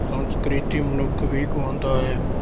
ਸੰਸਕ੍ਰਿਤੀ ਮਨੁੱਖ ਵੀ ਕਹਾਉਂਦਾ ਹੈ।